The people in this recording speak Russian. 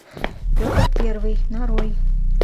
петр первый нарой